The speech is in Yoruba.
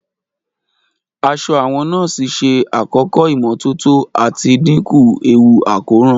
Aṣọ àwọn nọ́ọ̀sì ṣe àkọ́kọ́ ìmọ́tótó àti dínkù ewu àkóràn.